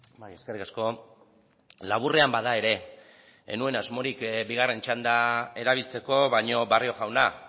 bai eskerrik asko laburrean bada ere ez nuen asmorik bigarren txanda erabiltzeko baino barrio jauna